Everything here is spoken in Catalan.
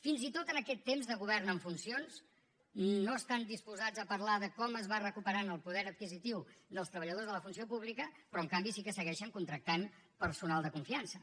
fins i tot en aquest temps de govern en funcions no estan disposats a parlar de com es va recuperant el poder adquisitiu dels treballadors de la funció pública però en canvi sí que segueixen contractant personal de confiança